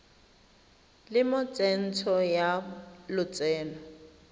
le mo tsentsho ya lotseno